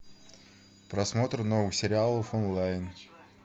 просмотр новых сериалов онлайн